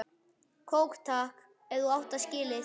Kók takk, ef þú átt það til!